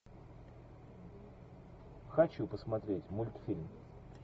хочу посмотреть мультфильм